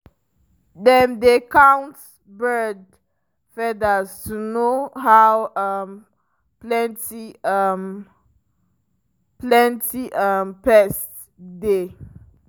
dem dey count bird feathers to know how um plenty um plenty um pests dey.